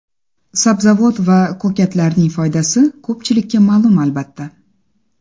Sabzavot va ko‘katlarning foydasi ko‘pchilikka ma’lum, albatta.